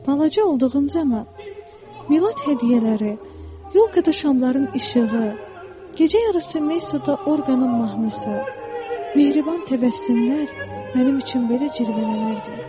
Balaca olduğum zaman milad hədiyyələri, yolka da şamların işığı, gecə yarısı Mey suda orqanın mahnısı, mehriban təbəssümlər mənim üçün belə cirvələnirdi.